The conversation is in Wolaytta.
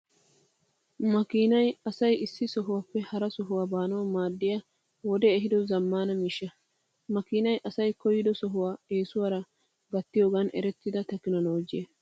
Makinay asay issi sohuwaappe hara sohuwaa baanawu maadiyaa wodee ehiido zammaana miishsha. Makiinay asay koyyido sohuwaa eesuwaara gattiyoogan eretida tekinoloojjiyaa.